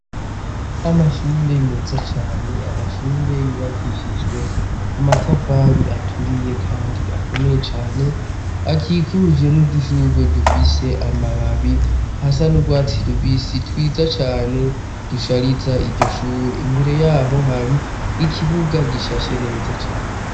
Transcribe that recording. Amashure meza cane ; amashure yubakishijwe amatafari aturiye kandi akomeye cane. Akikujwe n'udushurwe dufise amababi asa n'urwatsi rubisitwiza cane dushariza iryo shure. Imbere yaho hari ikibuga gishashe neza cane.